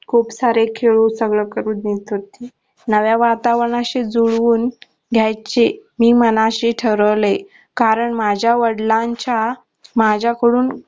खूप सारे खेळू सगळ करू नव्या वातावरणाशी जुळून घ्यायची मी मनाशी ठरवलंय कारण माझ्या वडलांच्या माझ्या कडून